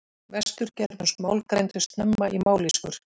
Vestur-germönsk mál greindust snemma í mállýskur.